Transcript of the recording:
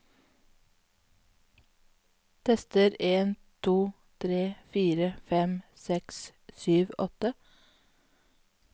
Tester en to tre fire fem seks sju åtte